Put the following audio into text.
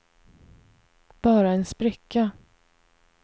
bara en spricka